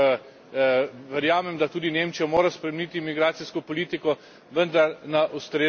Verjamem, da tudi Nemčija mora spremeniti migracijsko politiko, vendar na ustrezen način.